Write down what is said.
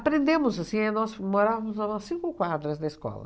assim, é nós morávamos a umas cinco quadras da escola.